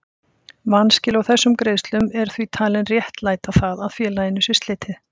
Vanskil á þessum greiðslum eru því talinn réttlæta það að félaginu sé slitið.